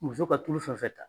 Muso ka tulu fɛn fɛn ta